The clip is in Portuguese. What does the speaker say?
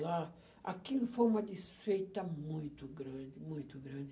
lá, aquilo foi uma desfeita muito grande, muito grande.